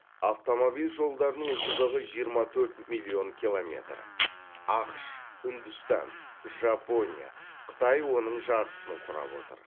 автомобиль жолдарының ұзындығы жиырма төрт миллион километр ақш үндістан жапония қытай оның жартысын құрап отыр